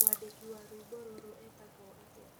Mwandĩki wa rwĩmbo rũrũ etagwo atĩa